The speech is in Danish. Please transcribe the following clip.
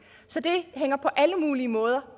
så det hænger på alle mulige måder